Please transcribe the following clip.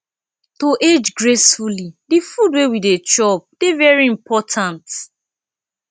to age gracefully di food wey we dey chop dey very important